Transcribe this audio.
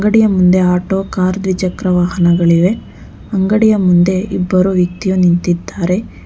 ಅಂಗಡಿಯ ಮುಂದೆ auto car ದ್ವಿಚಕ್ರ ವಾಹನಗಳಿವೆ ಅಂಗಡಿಯ ಮುಂದೆ ಇಬ್ಬರು ವ್ಯಕ್ತಿಯು ನಿಂತಿದ್ದಾರೆ.